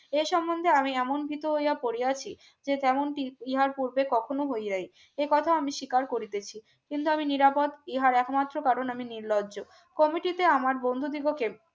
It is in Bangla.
এ সম্বন্ধে আমি এমন ভীতু হইয়া পড়িয়াছি যে তেমনটি ইহার পূর্বে কখনো হইয়াই একথা আমি স্বীকার করিতেছি কিন্তু আমি নিরাপদ ইহার একমাত্র কারণ আমি নির্লজ্জ Comittee আমার বন্ধ বিভকের